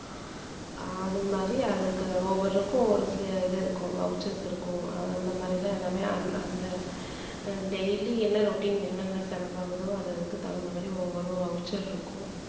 அது மாதிரி அதுக்கு ஒவ்வொருக்கும் ஒரு இது இருக்கும் voucher இருக்கும் அந்த மாதிரி எல்லாம் எல்லாமே அந்~ அந்~ அந்த daily என்ன routine என்னென்ன செலவாகுதோ அது அதுக்கு தகுந்த மாதிரி ஒவ்வொரு voucher இருக்கும்